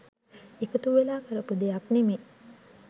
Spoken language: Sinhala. එකතු වෙලා කරපු දෙයක් නෙමේ.